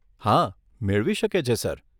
હા, મેળવી શકે છે સર.